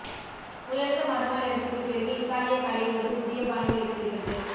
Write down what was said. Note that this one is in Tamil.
உயர்ந்த மறுமலர்ச்சிக்கு பிறகு இத்தாலிய கலை ஒரு புதிய பாணி வெளிப்படுகிறது